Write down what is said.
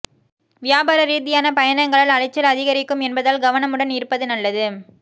வியாபார ரீதியான பயணங்களால் அலைச்சல் அதிகரிக்கும் என்பதால் கவனமுடன் இருப்பது நல்லது